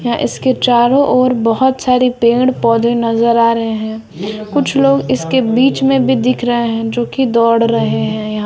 यहां इसके चारों ओर बहोत सारे पेड़ पौधे नजर आ रहे हैं। कुछ लोग इसके बीच में भी दिख रहा है जो की दौड़ रहे हैं यहां।